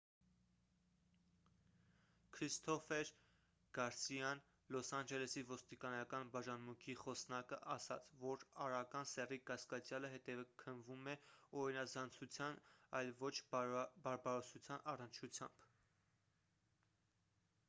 քրիստոֆեր գարսիան լոս անջելեսի ոստիկանական բաժանմունքի խոսնակը ասաց որ արական սեռի կասկածյալը հետաքննվում է օրինազանցության այլ ոչ բարբարոսության առնչությամբ